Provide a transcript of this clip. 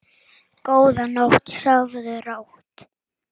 Góða nótt og sofðu rótt.